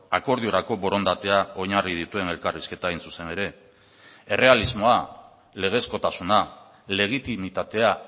akordiorako borondatea oinarri dituen elkarrizketa hain zuzen ere errealismoa legezkotasuna legitimitatea